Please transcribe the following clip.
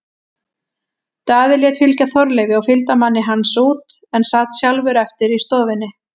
Daði lét fylgja Þorleifi og fylgdarmanni hans út en sat sjálfur eftir í stofunni.